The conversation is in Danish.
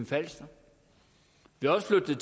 falster vi har også flyttet